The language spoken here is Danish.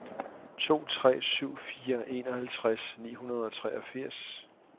to tre syv fire enoghalvtreds ni hundrede og treogfirs